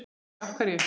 Sólveig: Af hverju?